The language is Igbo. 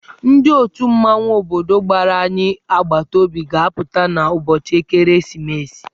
Ndị otù mmanwụ obodo gbara anyị agbataobi ga-apụta n'ụbọchị ekeresimesi.